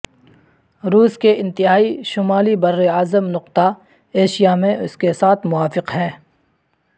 روس کے انتہائی شمالی براعظم نقطہ ایشیا میں اس کے ساتھ موافق ہے